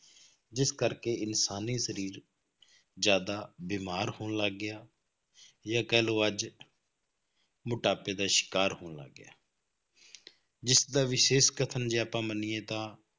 ਜਿਸ ਕਰਕੇ ਇਨਸਾਨੀ ਸਰੀਰ ਜ਼ਿਆਦਾ ਬਿਮਾਰ ਹੋਣ ਲੱਗ ਗਿਆ, ਜਾਂ ਕਹਿ ਲਓ ਅੱਜ ਮੋਟਾਪੇ ਦਾ ਸ਼ਿਕਾਰ ਹੋਣ ਲੱਗ ਗਿਆ ਜਿਸਦਾ ਵਿਸ਼ੇਸ਼ ਕਥਨ ਜੇ ਆਪਾਂ ਮੰਨੀਏ ਤਾਂ